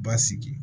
Basigi